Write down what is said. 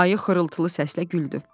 Ayı xırıltılı səslə güldü.